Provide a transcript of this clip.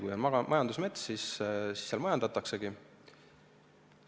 Kui on majandusmets, siis seal majandataksegi.